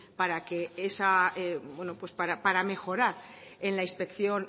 para que esa bueno pues para mejorar en la inspección